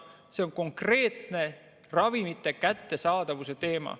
See on konkreetselt ravimite kättesaadavuse teema.